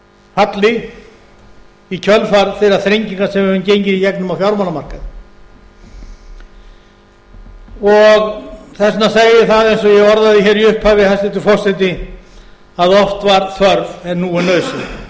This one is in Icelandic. falli í kjölfar þeirra þrenginga sem við höfum gengið í gegnum á fjármálamarkaði þess vegna segi ég það eins og ég orðaði í upphafi hæstvirtur forseti að oft var þörf en nú er nauðsyn